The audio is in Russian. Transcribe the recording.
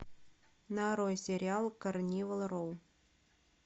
нарой сериал карнивал роу